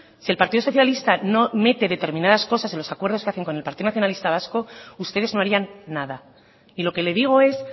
si el partido socialista no mete determinadas cosas en los acuerdos que hacen con el partido nacionalista vasco ustedes no harían nada y lo que le digo es